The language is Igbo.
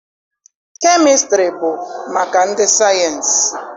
Kemịstrị bụ maka ndị sayịensị